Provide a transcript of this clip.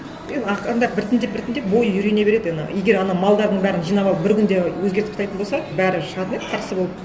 енді ақырындап біртіндеп біртіндеп бойы үйрене береді ана егер ана малдардың бәрін жинап алып бір күнде өзгертіп тастайтын болса бәрі шығатын еді қарсы болып